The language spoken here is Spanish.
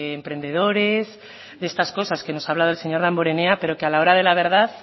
emprendedores de estas cosas que nos habla el señor damborenea pero que a la hora de la verdad